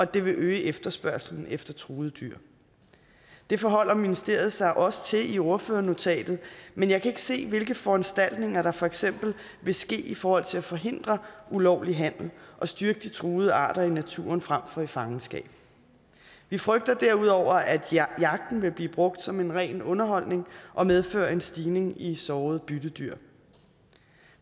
det vil øge efterspørgslen efter truede dyr det forholder ministeriet sig også til i ordførernotatet men jeg kan ikke se hvilke foranstaltninger der for eksempel vil ske i forhold til at forhindre ulovlig handel og styrke de truede arter i naturen frem for i fangenskab vi frygter derudover at jagten vil blive brugt som en ren underholdning og medføre en stigning i sårede byttedyr